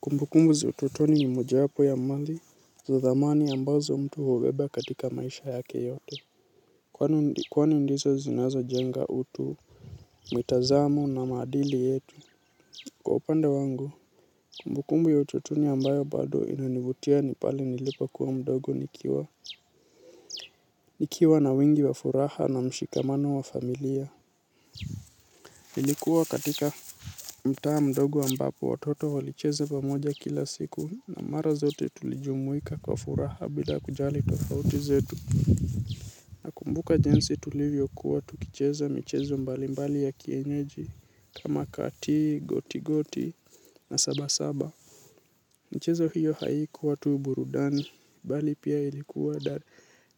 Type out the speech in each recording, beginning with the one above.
Kumbukumbu za ututoni ni moja wapo ya mali, za thamani ambazo mtu hubeba katika maisha yake yote. Kwanu ndizo zinazo jenga utu, mitazamo na maadili yetu. Kwa upande wangu, kumbukumbu ya ututoni ambayo bado inanivutia nipale nilipo kuwa mdogo nikiwa. Nikiwa na wingi wa furaha na mshikamano wa familia. Ilikuwa katika mtaa mdogo ambapo watoto walicheza pamoja kila siku na mara zote tulijumuika kwa furaha bila kujali tofauti zetu. Kumbuka jinsi tulivyo kuwa tukicheza michezo mbali mbali ya kienyeji kama kati, goti goti na saba saba. Michezo hiyo haikuwa tu burudani, bali pia ilikuwa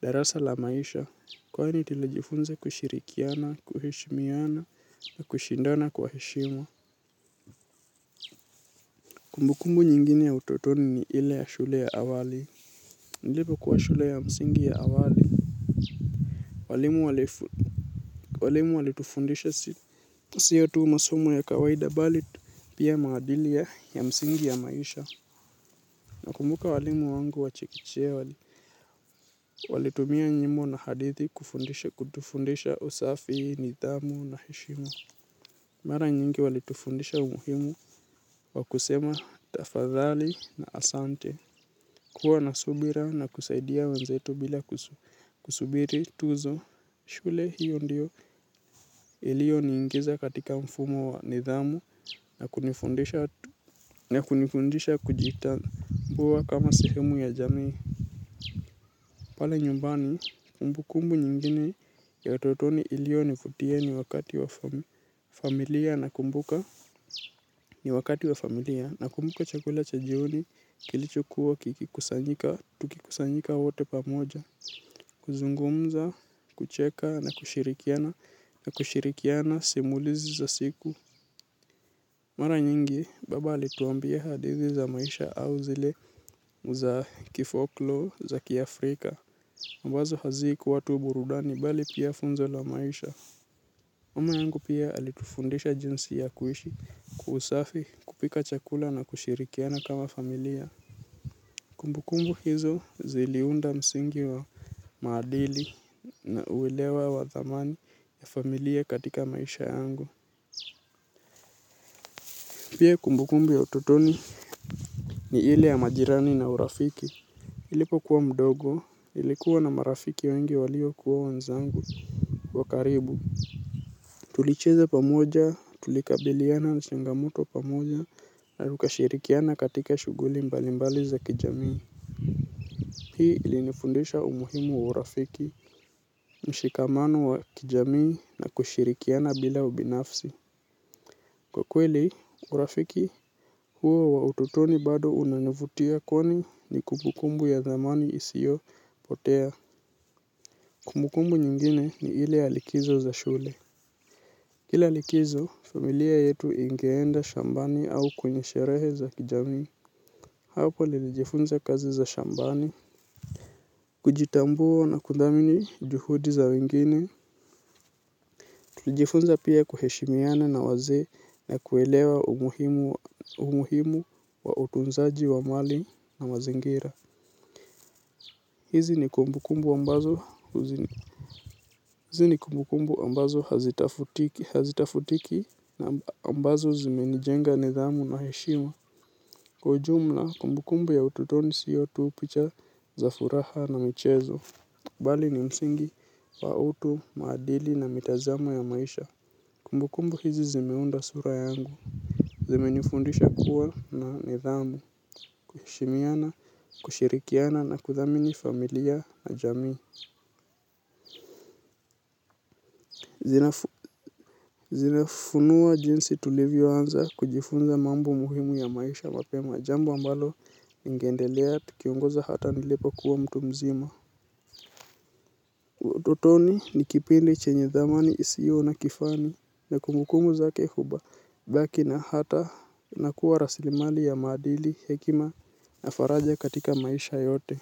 darasa la maisha, kwani tuli jifunza kushirikiana, kuheshimiana, na kushindana kwa heshima. Kumbukumbu nyingine ya utotoni ni ile ya shule ya awali, nilipo kuwa shule ya msingi ya awali, walimu walitufundisha siyotu masomo ya kawaida bali pia maadili ya msingi ya maisha. Na kumbuka walimu wangu wachekechea. Walitumia nyimbo na hadithi kufundisha kutufundisha usafi, nidhamu na heshima. Mara nyingi walitufundisha umuhimu wa kusema tafadhali na asante. Kuwa na subira na kusaidia wenzetu bila kusubiri tuzo. Shule hiyo ndio ilio niingiza katika mfumo wa nidhamu na kunifundisha kujitambua kama sehemu ya jamii. Pala nyumbani, kumbu kumbu nyingine ya utotoni ilio nivutia ni wakati wa familia na kumbuka chakula cha jioni kilicho kuwa kikikusanyika, tukikusanyika wote pamoja, kuzungumza, kucheka na kushirikiana, na kushirikiana simulizi za siku. Mara nyingi, baba alituambia hadithi za maisha au zile za kifoklo za kiafrika. Wazo hazikuwa tu burudani bali pia funzo la maisha. Mama yangu pia alitufundisha jinsi ya kuishi kwa usafi kupika chakula na kushirikiana kama familia. Kumbukumbu hizo ziliunda msingi wa maadili na uelewa wa thamani ya familia katika maisha yangu. Pia kumbukumbu ya utotoni ni ile ya majirani na urafiki nilipo kuwa mdogo nilikuwa na marafiki wengi walio kuwa wenzangu wakaribu. Tulicheza pamoja tulikabiliana na changamoto pamoja na tukashirikiana katika shughuli mbalimbali za kijamii. Hii ilinifundisha umuhimu wa urafiki mshikamano wa kijamii na kushirikiana bila ubinafsi. Kwa kweli, urafiki huo wa utotoni bado unanivutia kwani ni kumbukumbu ya dhamani isio potea. Kumbukumbu nyingine ni ile ya likizo za shule. Kila likizo, familia yetu ingeenda shambani au kwenye sherehe za kijamii. Hapo nilijifunza kazi za shambani, kujitambua na kudhamini juhudi za wengine. Tulijifunza pia kuheshimiana na wazee na kuelewa umuhimu wa utunzaji wa mali na mazingira. Hizi ni kumbu kumbu ambazo hazitafutiki na ambazo zime nijenga nidhamu na heshima. Kwa ujumla, kumbu kumbu ya utotoni sio tu picha za furaha na michezo. Bali ni msingi wa utu, maadili na mitazamo ya maisha. Kumbukumbu hizi zimeunda sura yangu, zime nifundisha kuwa na nidhamu, kuheshimiana, kushirikiana na kuthamini familia na jamii. Zimefunuwa jinsi tulivyo anza kujifunza mambo muhimu ya maisha mapema, jambo ambalo ningeendelea tikiongozwa hata nilipo kuwa mtu mzima. Utotoni ni kipindi chenye dhamani isiyo na kifani na kumbukumbu zake huba hubaki na hata inakuwa rasilimali ya maadili hekima na faraja katika maisha yote.